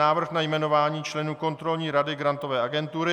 Návrh na jmenování členů Kontrolní rady Grantové agentury